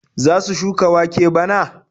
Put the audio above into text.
Za su shuka wake bana?